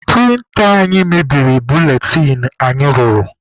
Prịnta anyị mebiri buletịn anyị rụrụ.